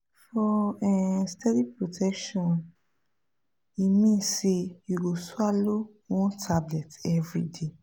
for um steady protection e mean say you go swallow one tablet everyday